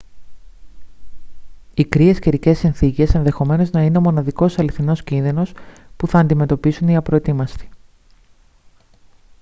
οι κρύες καιρικές συνθήκες ενδεχομένως να είναι ο μοναδικός αληθινός κίνδυνος που θα αντιμετωπίσουν οι απροετοίμαστοι